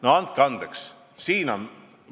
No andke andeks!